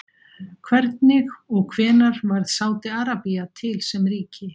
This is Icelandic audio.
Hvernig og hvenær varð Sádi-Arabía til sem ríki?